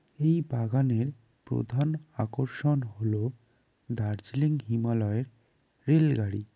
এই বাগানের প্রধান আকর্ষণ হল দার্জিলিং হিমালয়ের রেলগাড়ি।